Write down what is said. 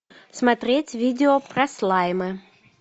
смотреть видео про слаймы